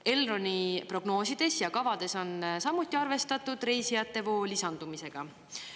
Elroni prognoosides ja kavades on samuti arvestatud reisijatevoo lisandumisega.